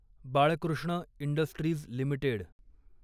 Balkrishna industries limited